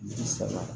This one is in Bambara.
Bi saba